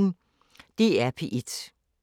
DR P1